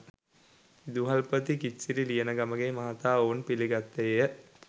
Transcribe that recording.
විදුහල්පති කිත්සිරි ලියනගමගේ මහතා ඔවුන් පිළිගත්තේය